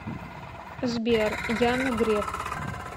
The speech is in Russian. сбер яна греф